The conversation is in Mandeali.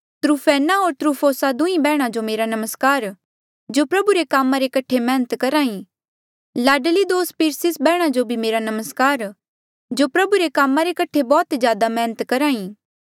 त्रूफैन्ना होर त्रूफोसा दुहीं बैहणा जो नमस्कार जो प्रभु रे कामा रे कठे मैहनत करही लाडली दोस्त पिरसिस बैहणा जो मेरा नमस्कार जो प्रभु रे कामा रे कठे बौह्त ज्यादा मैहनत करही